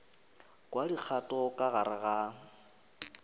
kwa dikgato ka gare ga